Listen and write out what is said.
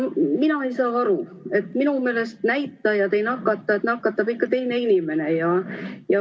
Mina ei saa aru – minu meelest näitajad ei nakata, nakatab ikka teine inimene.